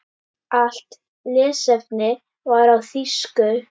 Allt lesefni var á þýsku.